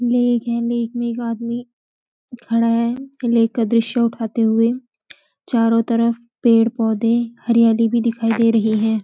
लेख है लेख में एक आदमी खड़ा है लेख का दृश्य उठाते हुए चारों तरफ पेड़ पौधे हरियाली भी दिखाई दे रही है।